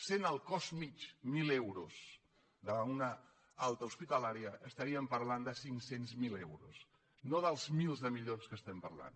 sent el cost mitjà d’una alta hospitalària de mil euros estaríem parlant de cinc cents miler euros no dels mils de milions de què estem parlant